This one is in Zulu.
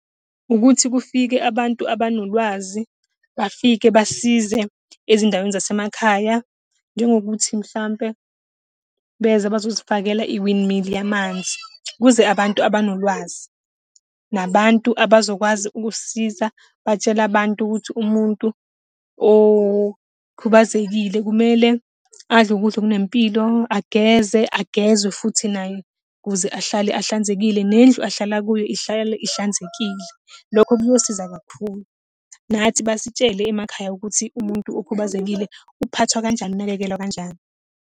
Ukuthi kufike abantu abanolwazi, bafike basize ezindaweni zasemakhaya, njengokuthi mhlampe beze bazosifakela i-windmill yamanzi. Kuze abantu abanolwazi. Nabantu abazokwazi ukusisiza, batshela abantu ukuthi umuntu okhubazekile kumele adle ukudla okunempilo, ageze, agezwe futhi naye, kuze ahlale ahlanzekile, nendlu ahlala kuyo ihlale ihlanzekile. Lokho kuyosiza kakhulu, nathi basitshele emakhaya ukuthi umuntu okhubazekile uphathwa kanjani, unakekelwa kanjani.